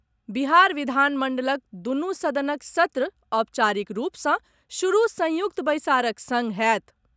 बिहार विधानमंडलक दुनू सदनक सत्र औपचारिक रूप सँ शुरू संयुक्त बैसारक संग होयत।